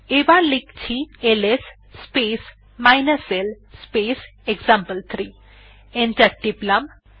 এবার লিখছি LS space l space example three enter টিপলাম